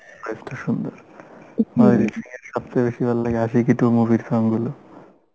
voice টা সুন্দর অরিজিত সিং এর সবচেয়ে বেশি ভাল লাগে Aashiqui two movie র song গুলো